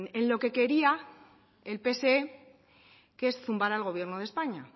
en lo que quería el pse que es zumbar al gobierno de españa